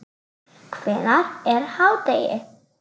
Hvenær er hádegi?